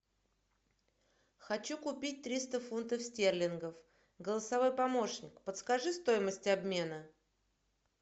хочу купить триста фунтов стерлингов голосовой помощник подскажи стоимость обмена